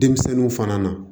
Denmisɛnninw fana na